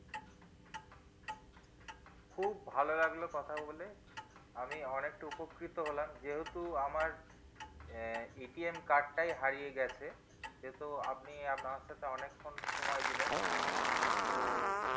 খুব ভালো লাগলো কথা বলে আমি উপকৃত হলাম যেহেতু আমার আহ card টাই হারিয়ে গেছে সেহেতু আপনি আমার সাথে অনেক ক্ষণ সময় দিলেন তো